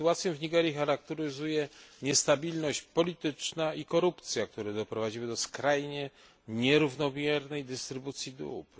Sytuację w Nigerii charakteryzuje niestabilność polityczna i korupcja, które doprowadziły do skrajnie nierównomiernej dystrybucji dóbr.